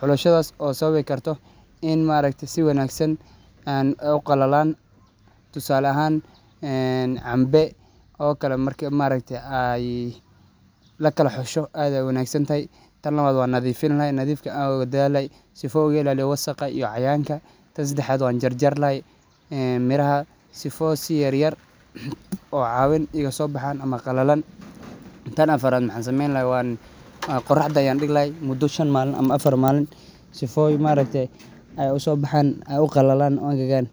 ,xulashadaas oo sawabi karto in ma aragte si wanagsan ay u qallalaan. Tusaale ahaan cambe oo kale maaragte marki ay la kala xusho aad iyo aad ayey u wanaagsan tahay .Tan labaad waan nadiifin lahaay ,nadifka ayaan aad oga daal lahay ,sifa aan uga ilaaliyio wasakha iyo cayayanka. Tan seddexaad waan jarjar lahaay ,een midhaha sifoo si yaryar oo caawin igasoo baxaan ama qallalan . Tan afaraad waxaan sameyn lahaay ,qorraxda ayaan dhig lahaay muddo shan maalin ama affar maalin, sifooy maaragte ay usoo baxaan ,ay u qallalaan u engegaan.